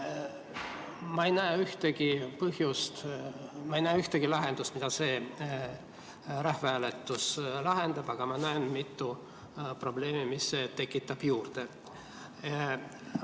Ma ei näe ühtegi probleemi, mida see rahvahääletus lahendab, aga ma näen mitut probleemi, mida see juurde tekitab.